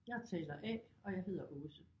Jeg er taler A og jeg hedder Aase